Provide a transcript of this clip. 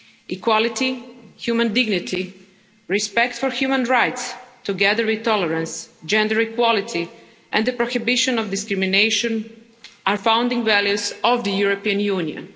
Equality, human dignity, respect for human rights, together with tolerance, gender equality and the prohibition of discrimination are founding values of the European Union.